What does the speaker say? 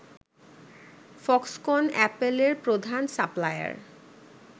Foxconn অ্যাপলের প্রধান supplier